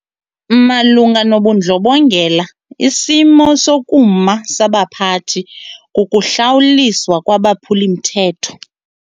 Malunga nobundlobongela isimo sokuma sabaphathi kukuhlawuliswa kwabaphuli-mthetho.